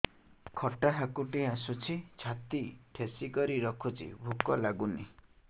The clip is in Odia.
ଖଟା ହାକୁଟି ଆସୁଛି ଛାତି ଠେସିକରି ରଖୁଛି ଭୁକ ଲାଗୁନି